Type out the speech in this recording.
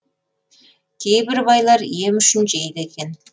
кейбір байлар ем үшін жейді екен